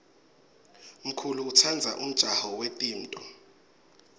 mkulu utsandza umjaho yetimto